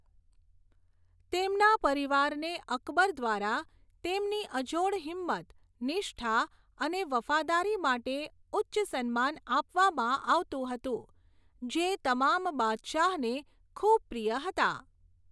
તેમના પરિવારને અકબર દ્વારા તેમની અજોડ હિંમત, નિષ્ઠા અને વફાદારી માટે ઉચ્ચ સન્માન આપવામાં આવતું હતું જે તમામ બાદશાહને ખૂબ પ્રિય હતા.